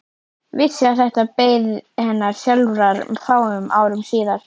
Vissi að þetta beið hennar sjálfrar fáum árum síðar.